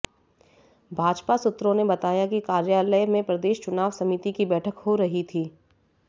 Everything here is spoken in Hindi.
भाजपा सूत्रों ने बताया कि कार्यालय में प्रदेश चुनाव समिति की बैठक हो रही थी